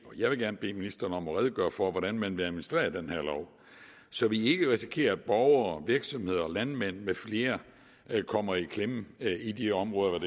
vil gerne bede ministeren redegøre for hvordan man vil administrere den her lov så vi ikke risikerer at borgere virksomheder og landmænd med flere kommer i klemme i de områder